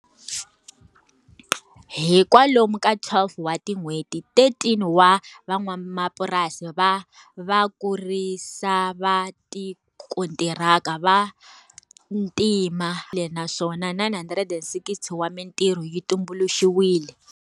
Hi kwalomu ka 12 wa tin'hweti, 13 wa van'wamapurasi va vakurisi va tikontiraka va ntima 960 wa mitirho yi tumbuluxiwile.